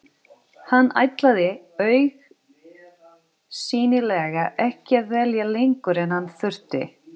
Hann ætlaði augsýnilega ekki að dvelja lengur en hann þurfti.